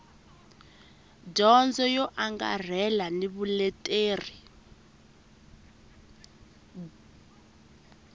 dyondzo yo angarhela ni vuleteri